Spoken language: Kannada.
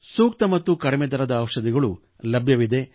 ಸೂಕ್ತ ಮತ್ತು ಕಡಿಮೆ ದರದ ಔಷಧಿಗಳು ಲಭ್ಯವಿವೆ